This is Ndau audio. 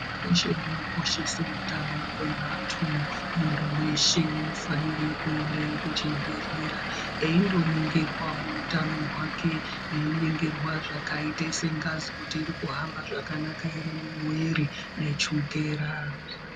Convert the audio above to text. Hurumende inokoshese utano hwevantu. Muntu weshe unofanire kuende kuchibhedhlera eindoningirwa utano hwake einingirwa zvakaite sengazi kuti iri kuhamba zvakanaka ere mumwiri nechukera.